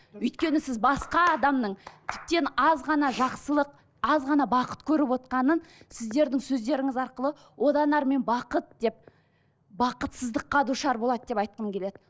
өйткені сіз басқа адамның тіптен аз ғана жақсылық аз ғана бақыт көріп отырғанын сіздердің сөздеріңіз арқылы одан әрмен бақыт деп бақытсыздыққа душар болады деп айтқым келеді